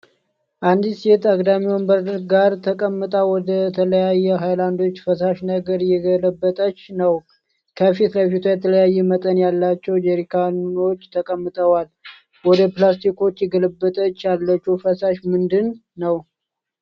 አንዲት ሴት አግዳሚ ወንበር ጋር ተቀምጣ ወደተለያዩ ሃይላንዶች ፈሳሽ ነገር እየገለበጠች ነው። ከፊት ለፊቷም የተለያየ መጠን ያላቸው ጄሪካኖች ተቀምጠዋል። ወደ ፕላስቲኮቹ እየገለበጠች ያለችው ፈሳሽ ምንድን ነው?